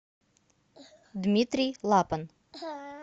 дмитрий лапан